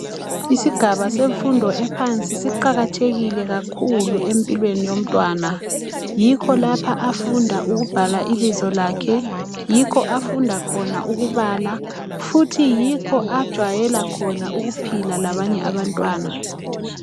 Isigaba semfudo ephansi siqakathekile kakhulu empilweni yomntwana yikho lapha afunda ukubhala ibizo lakhe yikho afunda khona ukubala futhi yikho ajwayela khona ukuphila labanye abantwana.